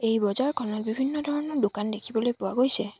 এই বজাৰখনত বিভিন্ন ধৰণৰ দোকান দেখিবলৈ পোৱা গৈছে।